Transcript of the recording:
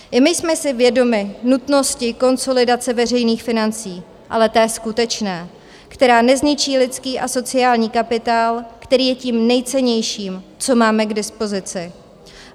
I my jsme si vědomi nutnosti konsolidace veřejných financí, ale té skutečné, která nezničí lidský a sociální kapitál, který je tím nejcennějším, co máme k dispozici.